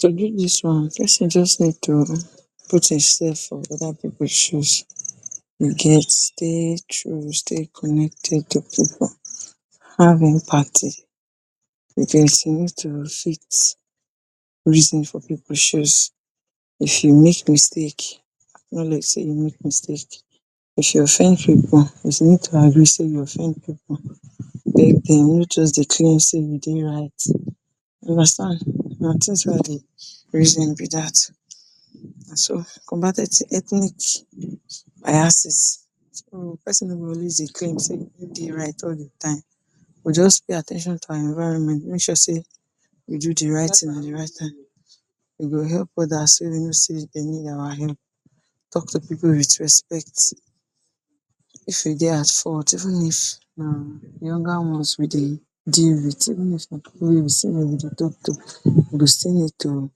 To do dis one, person just need to put him self for other pipu shoes you get take choose dey connected to pipu have empathy because you need to fit reason for pipu shoes if you make mistake acknowledge say you make mistake if you offend pipu let sey you offend pipu nor just dey claim sey you dey right you understand na thing wey I dey reason be dat na so rthnic biases, so person nor go dey claim sey e dey right all de time just pay at ten tion to our environment make sure sey you do de right thing at de right time you help others wey you know sey need our help talk to pipu with respect if you dey at fault even if na younger ones you dey deal with you still need to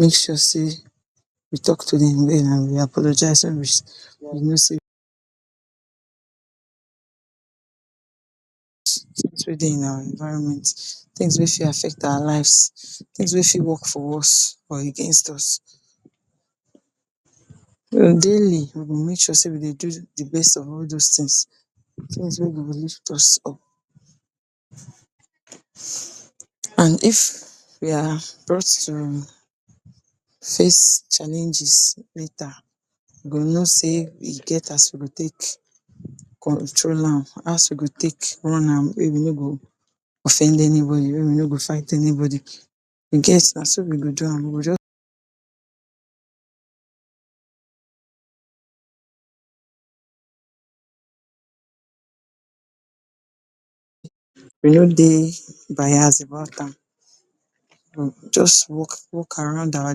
make sure sey you talk to dem um apologize to finish you know suppose dey our environment things wey affect our lives things wey fit work for us and against us. On daily we go make sure we dey do de best of all those things, things wey go lift us up and if we are brought to face challenges later we go know sey e as we go take control am as we go take run am wey we nor go offend anyone we nor go fight anybody in case na so we go do am we go just you nor dey bias about am you just work, work around our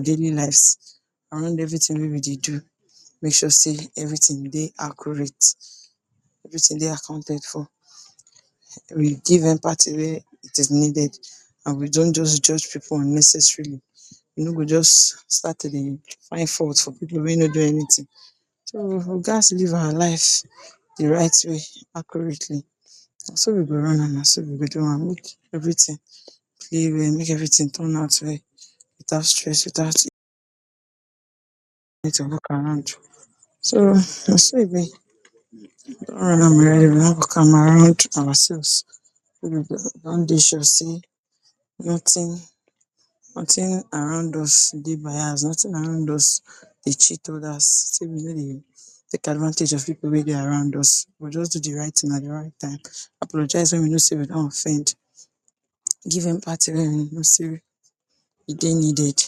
daily lives around everything wey we dey do make sure sey everything dey accurate everything dey accounted for we give empathy when it is needed and we don’t just judge pipu unnecessarily we nor go just start to dey find fault for pipu wey nor get anything so we gats live our lives de right way accurately na so we go run am na so we go do am make everything dey real make everything turn out well without stress without we need to look around so na so e be ourselves wey we go don dey sure sey nothing, nothing around us dey bias nothing around us dey cheat others make we nor dey take advantage of pipu wey dey around us we just do de right thing at de right time apologize when you know sey you don offend giving empathy when you know sey e dey needed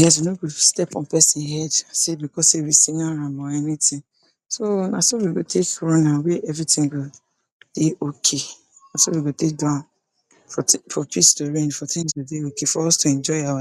yes you nor go step on person head sey because sey you senior am or anything so na so we go take run am wey everything go dey okay na so we go take do am for peace to reign for things to dey okay for us to enjoy our